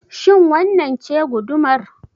Shin wannan ce gudumar?